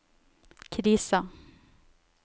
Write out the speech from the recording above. krisa